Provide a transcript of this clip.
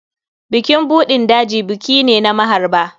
Bukin buɗin daji buki ne na maharba.